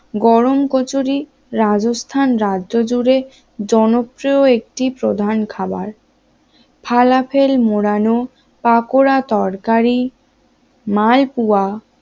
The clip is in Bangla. গরম কচুরি রাজস্থান রাজ্য জুড়ে জনপ্রিয় একটি প্রধান খাবার হালাফেল মোড়ানো পাকোড়া তরকারি, মালপোয়া